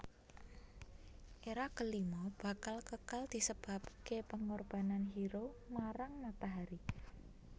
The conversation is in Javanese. Era kelima bakal kekal disebabke pengorbanan hero marang matahari